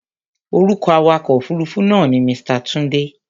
Orúkọ awakọ̀ òfuruufú náà ni Mr. Tunde.